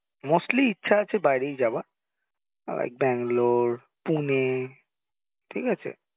mostly ইচ্ছা আছে বাইরেই যাওয়া like Bangalore, Pune ঠিক আছে